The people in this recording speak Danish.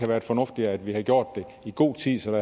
været fornuftigt at vi havde gjort det i god tid så